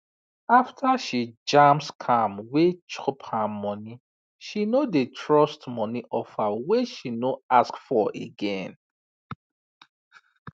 after she jam scam wey chop her money she no dey trust money offer wey she no ask for again